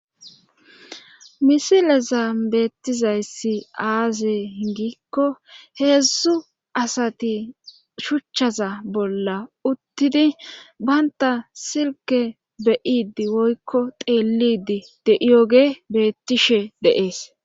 misilezan beettizayssi aaze giikko heedzdzu asati shuchchaza bolla uttidi baynta silke beyidi woykko xeelidi de7iyoge beettishe de'ees